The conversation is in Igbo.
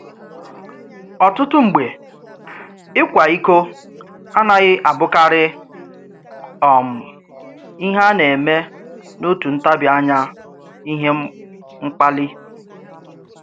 Ọ̀tụ̀tụ m̀gbè, íkwà íkò anaghị àbụ̀kárị um íhè à nà-èmé n’òtù ntàbí ànyà, ìhè mkpàlí.